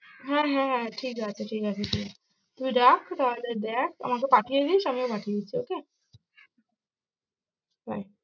হ্যাঁ হ্যাঁ ঠিক আছে, ঠিক আছে তুই রাখ তাহলে দেখ, আমাকে পাঠিয়ে দিস আমিও পাঠিয়ে দিচ্ছি okay হ্যাঁ।